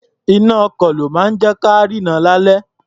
Iná-ọkọ̀ ló máa ń jẹ́ ka rínran lálẹ́.